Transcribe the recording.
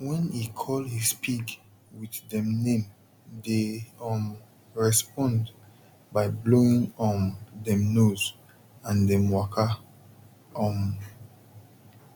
wen he call his pig with dem name dey um respond by blowing um dem nose and dem waka um